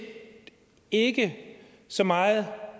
ikke så meget